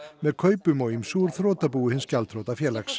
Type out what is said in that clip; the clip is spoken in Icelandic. með kaupum á ýmsu úr þrotabúi hins gjaldþrota félags